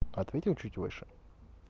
ответил чуть выше